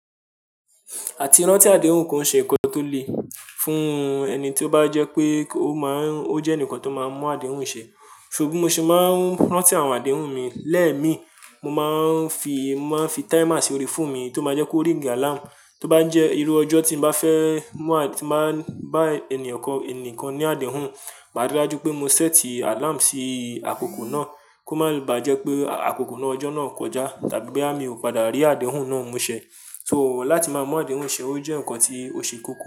Àti rántí àdéhùn kan ṣe nǹkan tó le fún ẹni tí ó bá jẹ́ pé ó máa ń, ó jẹ́ ẹnìkan tó máa ń mú àdéhùn ṣe. So bi mo ṣe máa ń rántí àwọn àdéhùn mi lẹ́mi, mo máa ń fi, máa ń fi timers ori phone mi tó máa jẹ́ kó ríìgi alarm tó bá ń jẹ́ irú ọjọ́ tí mo bá fẹ́ mú àti máa bá ẹni ọ̀kan, ẹnìkan ní àdéhùn, ma rí i dájú pé mo sẹ́ẹ̀tì alarm sí àkókò náà kó má ba jẹ́ pé àkókò náà, ọjọ́ náà kọjá tàbí pé àmi ò padà rí àdéhùn náà mú ṣẹ. So láti máa mú àdéhùn ṣe o jẹ́ ǹkan tí ó ṣe kókó.